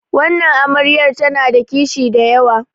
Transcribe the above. wannan amaryar tana da kishi da yawa